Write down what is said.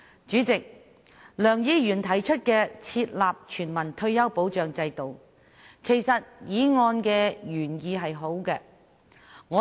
主席，梁議員提出"設立全民退休保障制度"議案的原意其實是好的。